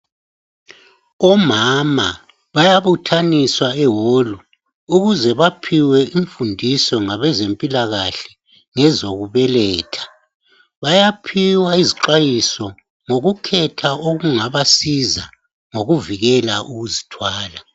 Omama bayabuthaniswa eholu ukuze baphiwe imfundiso ngabezempilakahle ngezokubeletha. Bayaphiwa izixwayiso ngokukhetha okungabasiza ngokuvikela ukuzithwala.